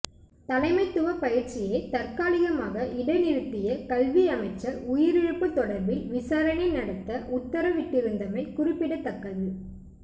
தலமைத்துவப் பயிற்சியை தற்காலிகமாக இடைநிறுத்திய கல்வி அமைச்சர் உயிரிழப்புத் தொடர்பில் விசாரணை நடத்த உத்தரவிட்டிருந்தமை குறிப்பிடத்தக்கது